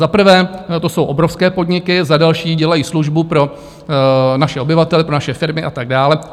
Za prvé to jsou obrovské podniky, za další dělají službu pro naše obyvatele, pro naše firmy a tak dále.